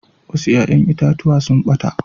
Wasu ƴa'ƴan itatuwa sun ɓata.